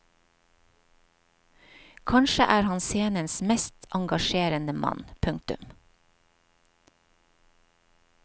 Kanskje er han scenens mest engasjerende mann. punktum